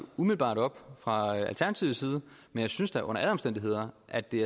umiddelbart op fra alternativets side men jeg synes da under alle omstændigheder at det